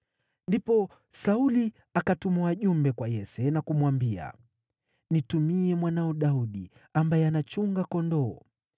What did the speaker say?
Ndipo Sauli akatuma wajumbe kwa Yese na kumwambia, “Nitumie mwanao Daudi, ambaye anachunga kondoo.”